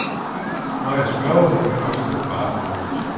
Når jeg spørger hende, ryster hun bare på hovedet.